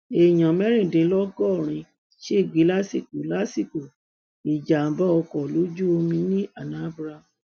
èèyàn mẹrìndínlọgọrin ṣègbè lásìkò lásìkò ìjàgbá ọkọ ojú omi ní anambra